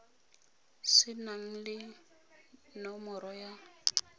se nang le nomoro ya